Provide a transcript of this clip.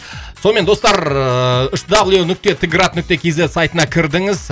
сонымен достар ыыы үш дабл ю нүкте т град нүкте кз сайтына кірдіңіз